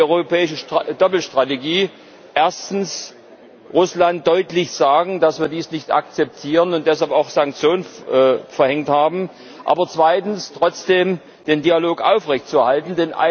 Deshalb ist die europäische Doppelstrategie Erstens Russland deutlich ZU sagen, dass wir dies nicht akzeptieren und deshalb auch Sanktionen verhängt haben, aber zweitens trotzdem den Dialog aufrechtzuerhalten.